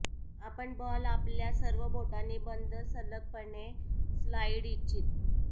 आपण बॉल आपल्या सर्व बोटांनी बंद सलगपणे स्लाइड इच्छित